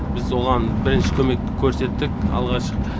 біз оған бірінші көмек көрсеттік алғаш